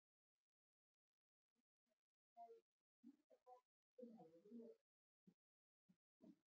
Stundum neyðist maður til að svíkja það sem maður hefur lofað.